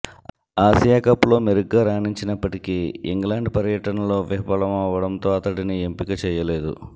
ఆసియాకప్లో మెరుగ్గా రాణించినప్పటికీ ఇంగ్లాండ్ పర్యటనలో విఫలమవ్వడంతో అతడిని ఎంపిక చేయలేదు